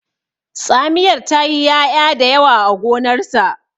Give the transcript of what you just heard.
tsamiyar ta yi ya'ya da yawa a gonarsa